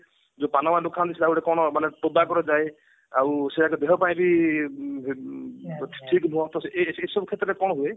ପାନ ଦୋକାନ ଗୋଟେ କଣ ମାନେ ଟବାକୁ ରେ ଯାଏ ଆଉ ସେଗୁଡାକ ଦେହ ପାଇଁ ବି ଉଁ ଉଁ ବହୁତ ଠିକ ଏସବୁ କ୍ଷେତ୍ରରେ କଣ ହୁଏ